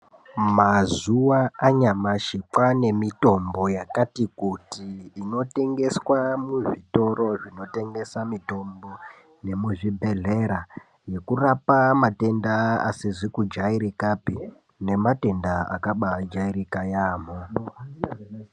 Mazuva anyamashi kwaane mitombo yakati kuti inotengeswa muzvitoro zvinotengesa mitombo yemuzvibhedhlera nekurapa matenda asizi kujairikapi nematenda akaba ajairika yeyamho.